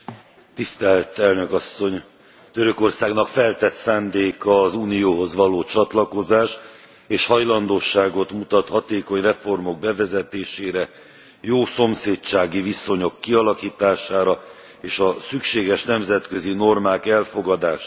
Elnök Asszony, Törökországnak feltett szándéka az Unióhoz való csatlakozás, és hajlandóságot mutat hatékony reformok bevezetésére, jó szomszédsági viszonyok kialakítására és a szükséges nemzetközi normák elfogadására.